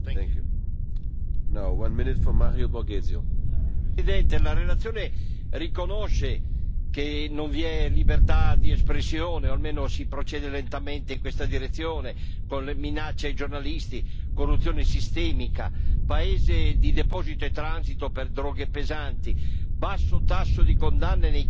Signor Presidente, onorevoli colleghi, la relazione riconosce che non vi è libertà di espressione o almeno che si procede lentamente in questa direzione, con le minacce ai giornalisti, corruzione sistemica, paese di deposito e transito per droghe pesanti, basso tasso di condanne nei casi contro la tratta di essere umani,